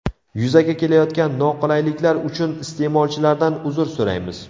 Yuzaga kelayotgan noqulayliklar uchun iste’molchilardan uzr so‘raymiz.